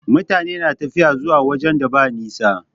Mutane na tafiya zuwa wajen da ba nisa.